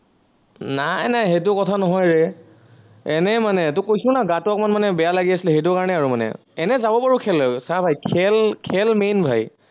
নাই নাই সেইটো কথা নহয় ৰে, এনেই মানে তোক কৈছো না, গাটো অকনমান মানে বেয়া লাগে আছে, সেইটো কাৰনে আৰু মানে। এনেই যাব পাৰো খেললৈ, চা ভাই খেল, খেল main মানে